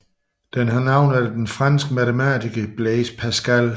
Den har navn efter den franske matematiker Blaise Pascal